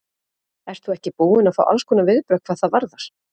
Ert þú ekki búin að fá allskonar viðbrögð hvað það varðar?